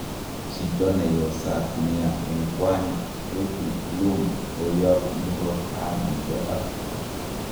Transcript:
Jito neyosaat nia en kwany,"Frdie Blom koyap murot tai nepo afrika